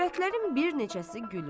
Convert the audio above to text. Övrətlərin bir neçəsi gülür.